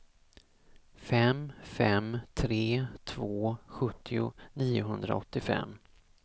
fem fem tre två sjuttio niohundraåttiofem